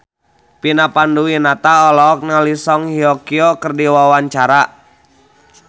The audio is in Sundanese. Vina Panduwinata olohok ningali Song Hye Kyo keur diwawancara